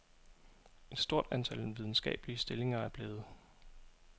Et stort antal videnskabelige stillinger er blevet